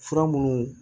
Fura minnu